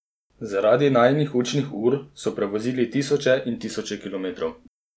Zaradi najinih učnih ur so prevozili tisoče in tisoče kilometrov.